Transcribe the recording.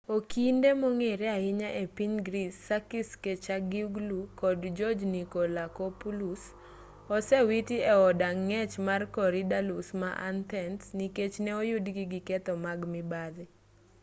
okinde mong'ere ahinya epiny greece sakis kechagioglou kod george nikolakopoulos osewiti e od ang'ech mar korydallus ma athens nikech ne oyudgi gi keth mag mibadhi